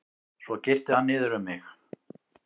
Svo girti hann niður um mig.